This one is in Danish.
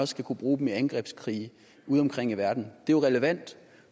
skal kunne bruge dem i angrebskrige udeomkring i verden det er jo relevant